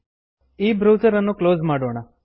ಈ ಬ್ರೌಸರ್ ಅನ್ನು ಕ್ಲೋಸ್ ಮಾಡೋಣ